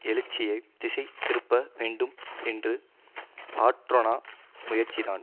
எழுச்சியை திசை திருப்ப வேண்டும் என்ற ஆற்றொணா முயற்சிதான்